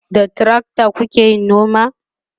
da trakta kukayi noma?